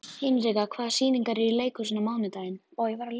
Hinrika, hvaða sýningar eru í leikhúsinu á mánudaginn?